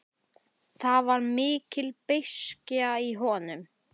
Það var mikil beiskja í honum.